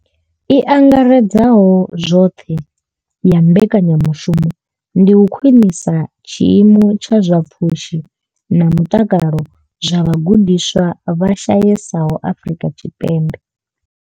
I angaredzaho zwoṱhe ya mbekanya mushumo ndi u khwinisa tshiimo tsha zwa pfushi na mutakalo zwa vhagudiswa vha shayesaho Afrika Tshipembe.